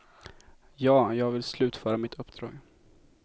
Ja, jag vill slutföra mitt uppdrag.